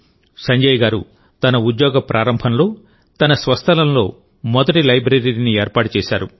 సంజయ్ గారు తన ఉద్యోగ ప్రారంభంలో తన స్వస్థలంలో మొదటి లైబ్రరీని ఏర్పాటు చేశారు